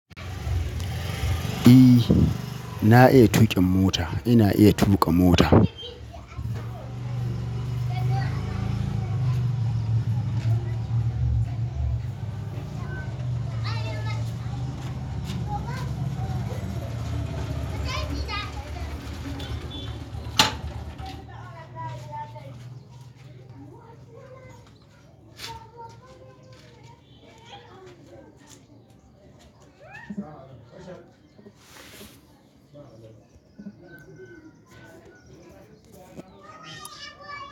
E, na iya tuƙin mota. Ina iya tuƙa mota.